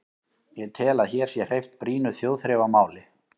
Ég tel, að hér sé hreyft brýnu þjóðþrifamáli.